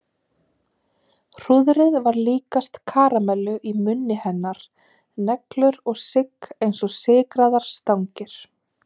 Hrúðrið var líkast karamellu í munni hennar, neglur og sigg eins og sykraðar stangir.